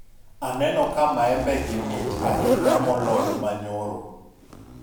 aneno ka maembe gi mit ahinya moloyo manyoro